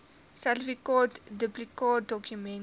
sertifikaat duplikaatdokument ten